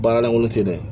Baara lankolon te dɛ